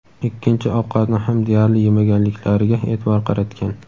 ikkinchi ovqatni ham deyarli yemaganliklariga e’tibor qaratgan.